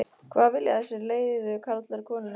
hvað vilja þessir leiðu karlar konunni?